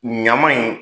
Ɲama in